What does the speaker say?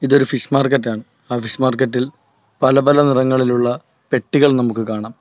ഇതൊരു ഫിഷ് മാർക്കറ്റാണ് ആ ഫിഷ് മാർക്കറ്റ് ഇൽ പല പല നിറങ്ങളിലുള്ള പെട്ടികൾ നമുക്ക് കാണാം.